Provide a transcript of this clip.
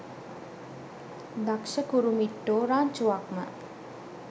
දක්ෂ කුරුමිට්ටෝ රංචුවක්ම.